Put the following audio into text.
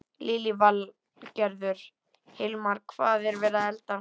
Lillý Valgerður: Hilmar, hvað er verið að elda?